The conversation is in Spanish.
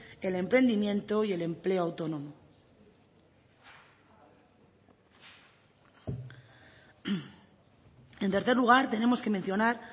el emprendimiento y el empleo autónomo en tercer lugar tenemos que mencionar